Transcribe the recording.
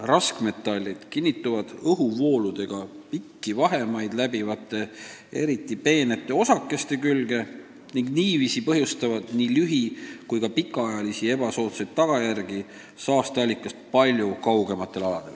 Raskmetallide osakesed kinnituvad õhuvooludega pikki vahemaid läbivate eriti peente osakeste külge ning põhjustavad seetõttu nii lühi- kui ka pikaajalisi halbu tagajärgi ka saasteallikast kaugemale jäävatel aladel.